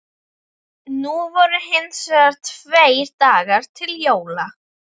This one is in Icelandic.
Nú voru hins vegar tveir dagar til jóla.